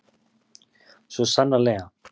Svo sannarlega.